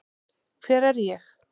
Hver er ég?